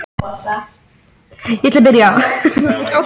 þessu getur fylgt hiti